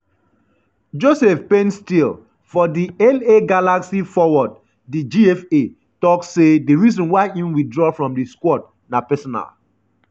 joseph painstil:for di la galaxy forward di gfa tok say di reason why im withdraw from di squad na “personal”.